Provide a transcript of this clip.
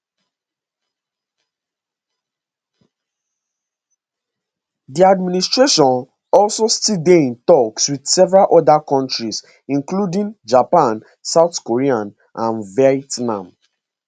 di administration also still dey in toks wit several oda kontris including japan south korea and vietnam